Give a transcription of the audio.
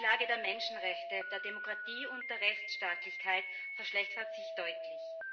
Die Lage der Menschenrechte, der Demokratie und der Rechtsstaatlichkeit verschlechtert sich deutlich.